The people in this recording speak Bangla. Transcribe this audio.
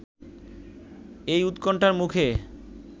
এ উৎকণ্ঠার মুখে